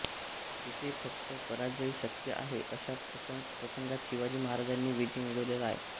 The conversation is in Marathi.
जेथे फक्त पराजय शक्य आहे अशा प्रसंगात शिवाजी महाराजांनी विजय मिळवलेला आहे